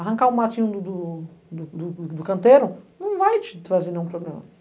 Arrancar o matinho do do do do canteiro não vai te trazer nenhum problema.